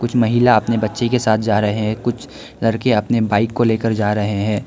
कुछ महिला अपने बच्चे के साथ जा रहे हैं कुछ लड़के अपने बाइक को लेकर जा रहे हैं।